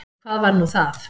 Hvað var nú það?